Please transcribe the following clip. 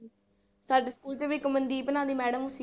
ਸਾਡੇ ਸਕੂਲ ਚ ਵੀ ਇੱਕ ਮਨਦੀਪ ਨਾਂ ਦੀ madam ਸੀ।